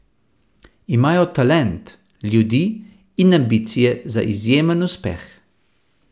Imajo talent, ljudi in ambicije za izjemen uspeh.